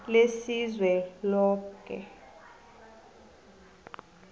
lesizweloke